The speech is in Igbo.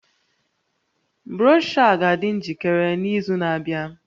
Broshọ a ga-adị njikere n'izu na-abịa